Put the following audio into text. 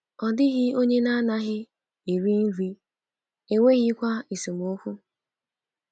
Ọ dịghị onye na-anaghị eri nri, e e nweghịkwa esemokwu.